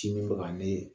Sini bɛ ka ne ye